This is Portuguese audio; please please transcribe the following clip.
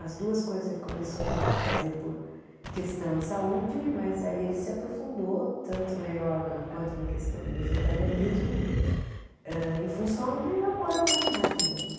As duas coisas ele começou a fazer por questão de saúde, mas aí ele se aprofundou tanto na yoga quanto na questão do vegetarianismo hã em função de amor aos animais mesmo.